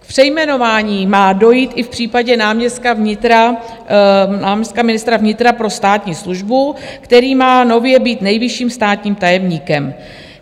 K přejmenování má dojít i v případě náměstka ministra vnitra pro státní službu, který má nově být nejvyšším státním tajemníkem.